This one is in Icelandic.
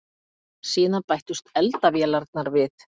Síðan bættust eldavélarnar við.